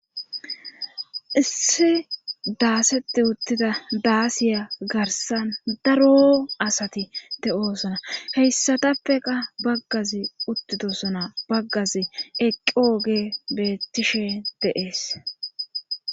Issi daaseti uttida daasiya garsan daro asati te oosona heyssatappeqa baggazi uttidosona baggazi eqqioge beettishe deees.